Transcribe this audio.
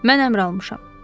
Mən əmr almışam.